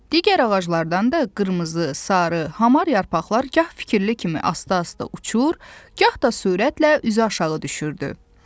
Digər ağaclardan da qırmızı, sarı, hamar yarpaqlar gah fikirli kimi asta-asta uçur, gah da sürətlə üzü aşağı düşürdü.